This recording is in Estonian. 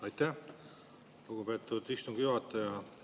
Aitäh, lugupeetud istungi juhataja!